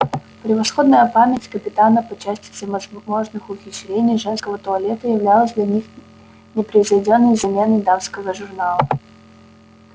превосходная память капитана по части всевозможных ухищрений женского туалета являлась для них непревзойдённой заменой дамского журнала